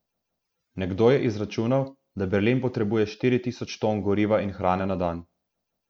Nekdo je izračunal, da Berlin potrebuje štiri tisoč ton goriva in hrane na dan.